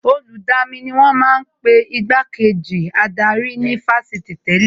Olùdamí ni wọ́n ma ń pe Igbá kejì adarí ní Fásitì tẹ́lẹ̀